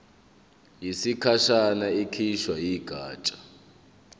yesikhashana ekhishwe yigatsha